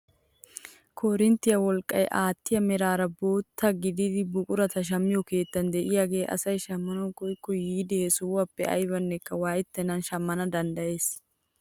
Korinttiyaa wolqqaa aattiyaa meraara bootta gidida buqurata shammiyoo keettay de'iyaagee asay shammanawu koyikko yiidi he sohuwaappe aybanekka waayettenan shammana danddayees!